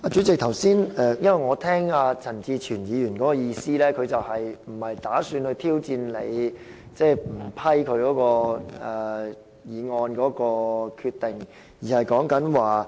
主席，我剛才聽到陳志全議員發言的意思是，他不打算挑戰你不批准他的議案的決定。